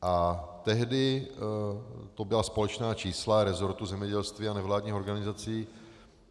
A tehdy to byla společná čísla resortu zemědělství a nevládních organizací.